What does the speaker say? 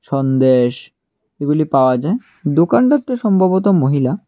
সন্দেশ এগুলি পাওয়া যায় দোকানটার তো সম্ভবত মহিলা।